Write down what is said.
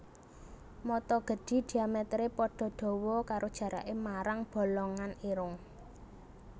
Mata gedhi diamèteré padha dawa karo jaraké marang bolongan irung